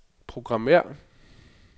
programmér